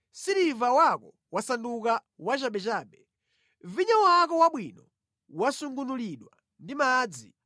Siliva wako wasanduka wachabechabe, vinyo wako wabwino wasungunulidwa ndi madzi.